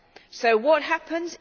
So what happens?